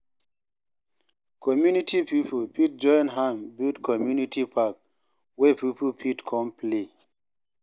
Community pipo fit join hand build community park wey pipo fit come play